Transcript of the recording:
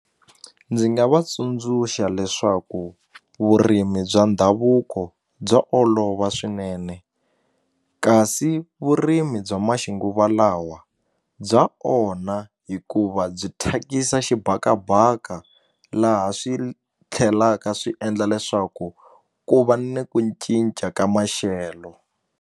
Ndzi nga va tsundzuxa leswaku vurimi bya ndhavuko bya olova swinene kasi vurimi bya maxinguvalawa bya onha hikuva byi thyakisa xibakabaka laha swi tlhelaka swi endla leswaku ku va ni ku cinca ka maxelo.